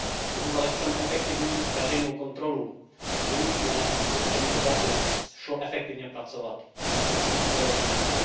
Pokud ale chceme efektivní veřejnou kontrolu, je nutné, aby s těmito daty šlo efektivně pracovat, musí být strojově čitelná.